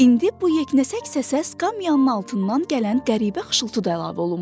İndi bu yeknəsək səsə skamyanın altından gələn qəribə xışıltı da əlavə olunmuşdu.